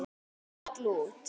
Tígull út.